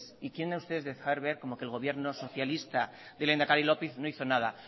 y quieren ustedes dejar ver como que el gobierno socialista del lehendakari lópez no hizo nada